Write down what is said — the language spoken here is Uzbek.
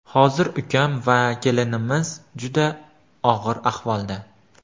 Hozir ukam va kelinimiz juda og‘ir ahvolda.